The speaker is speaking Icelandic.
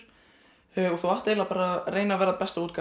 og þú átt eiginlega bara að reyna að vera besta útgáfan